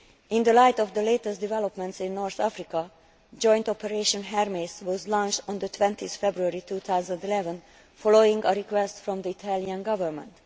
In the light of the latest developments in North Africa, joint operation Hermes was launched on 20 February 2011 following a request from the Italian Government.